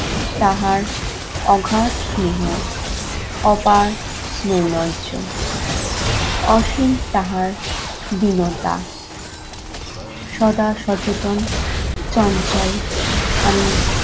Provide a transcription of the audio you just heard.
তাহার আঘাত স্নেহ, অপার স্নোইনজ্য, অসীম তাহার দীনতা, সদা সচেতন চঞ্চল আমি